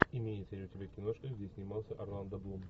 имеется ли у тебя киношка где снимался орландо блум